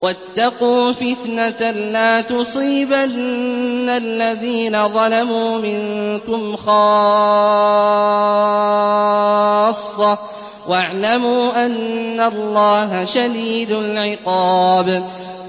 وَاتَّقُوا فِتْنَةً لَّا تُصِيبَنَّ الَّذِينَ ظَلَمُوا مِنكُمْ خَاصَّةً ۖ وَاعْلَمُوا أَنَّ اللَّهَ شَدِيدُ الْعِقَابِ